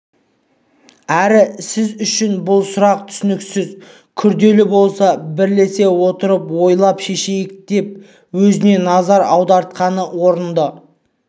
әрі сіз үшін бұл сұрақ түсініксіз күрделі болса бірлесе отырып ойлап шешейік деп өзіне назар аудартқаны орынды